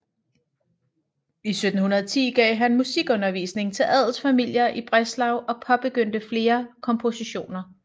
I 1710 gav han musikundervisning til adelsfamilier i Breslau og påbegyndte flere kompositioner